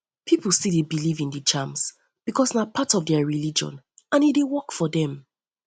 pipo still dey believe in di charms because na part of na part of their religion and e dey work for them